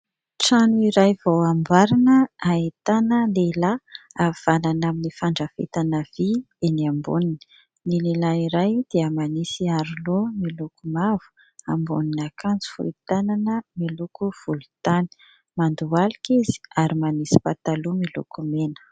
Trano iray vao amboarina, ahitana lehilahy havanana amin'ny fandrafetana vy eny amboniny. Ny lehilahy iray dia manisy aro-loha miloko mavo, ambonin'akanjo volontanana miloko volotany, mandohalika izy ary manisy pataloha miloko mena.